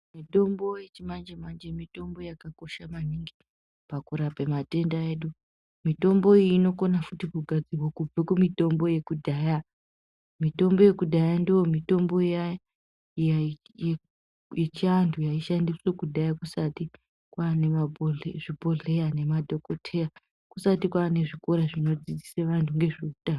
Mitombo yechimanjemanje mitombo yakanaka maningi pakurapa matenda. Mitombo iyi inokona futi kugadzirwa kubva kumitombo yekudhaya. Mitombo yekudhaya ndiyo mitombo iya yechiantu yaishandiswa kudhaya kusati kwaane zvibhedhleya nemadhokodheya. Kusati kwaanezvikora zvinodzodzisa antu ngezveutano.